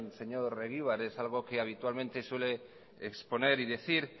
señor egibar es algo que habitualmente suele exponer y decir